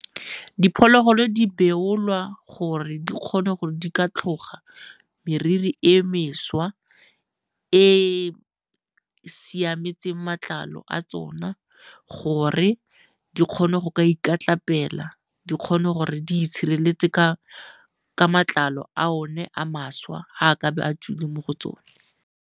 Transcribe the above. Diphologolo di beolwa gore di kgone gore di ka tlhoga meriri e mešwa e e siametseng matlalo a tsona gore di kgone go ka ikatlapela, di kgone gore di itshireletse ka matlalo a one a mašwa ga a kabe a tswile mo go tsone.